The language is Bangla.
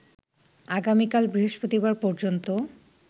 আগামীকাল বৃহস্পতিবার পর্যন্ত